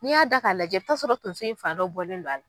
N'i y'a da k'a lajɛ i bi taa'a sɔrɔ tonso in fan dɔ bɔlen do a l